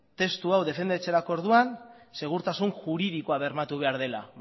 testu hau defendatzerako orduan segurtasun juridikoa bermatu behar dela